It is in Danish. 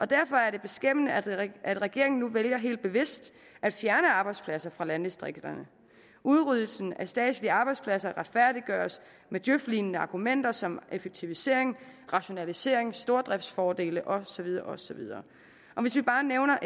derfor er det beskæmmende at at regeringen nu vælger helt bevidst at fjerne arbejdspladser fra landdistrikterne udryddelsen af statslige arbejdspladser retfærdiggøres med djøf lignende argumenter som effektivisering rationalisering stordriftsfordele og så videre og så videre og hvis vi bare nævner